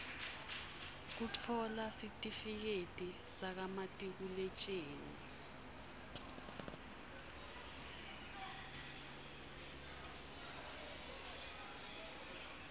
kutfola sitifiketi sakamatikuletjeni